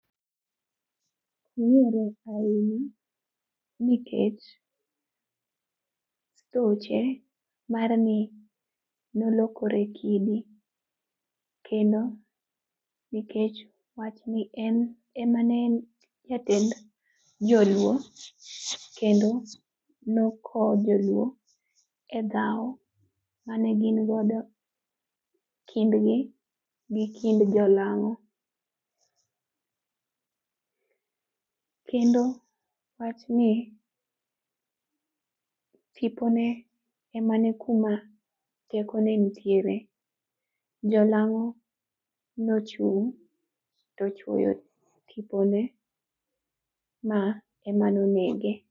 Ong'ere ahinya nikech e weche mar ni nolokore kidi, kendo nikech wachni en ema ne en jatend Joluo kendo nokowo Joluo e dhawo mane gin godo kindgi gi kind jolang'o, kendo wachni tipone ema ne kuma tekone nitiere. Jolang'o nochung' tochuoyo tipone ma ema nonege.